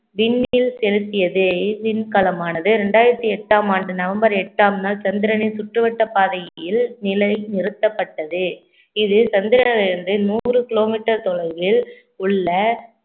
விண்ணில் செலுத்தியதே இவ்விண்கலமானது இரண்டாயிரத்தி எட்டாம் ஆண்டு நவம்பர் எட்டாம் நாள் சந்திரனின் சுற்றுவட்ட பாதையில் நிலை நிறுத்தப்பட்டது இதில் சந்திராயன்று நூறு kilometer தொலைவில் உள்ள